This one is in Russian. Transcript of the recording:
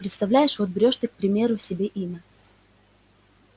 представляешь вот берёшь ты к примеру себе имя